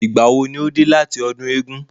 Ìgbà wo ni o dé láti ọdún eégún?